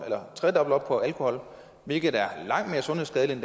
eller tredobbelt op på alkohol hvilket er langt mere sundhedsskadeligt